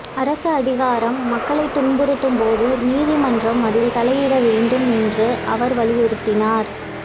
அரசு அதிகாரம் மக்களை துன்புறுத்தும் போது நீதிமன்றம் அதில் தலையிட வேண்டும் என்று அவர் வலியுறுத்தினார்